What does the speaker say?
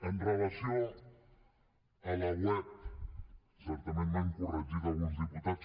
amb relació a la web certament m’han corregit alguns diputats